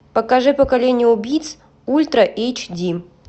покажи поколение убийц ультра эйч ди